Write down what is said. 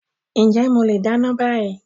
Ǹjẹ́ mo leè dáná bá yii.